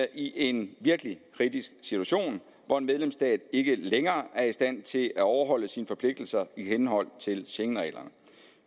i en virkelig kritisk situation hvor en medlemsstat ikke længere er i stand til at overholde sine forpligtelser i henhold til schengenreglerne